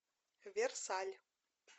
версаль